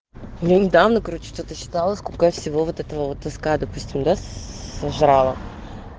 я недавно короче тут считала сколько всего вот этого вот таскаю да сожрала